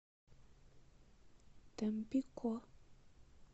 тампико